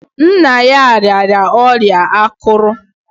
Nna ya rịara ọrịa akụrù.